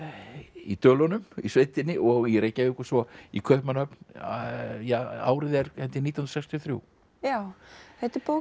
í Dölunum í sveitinni og í Reykjavík og svo í Kaupmannahöfn ja árið er held ég nítján hundruð sextíu og þrjú já þetta er bók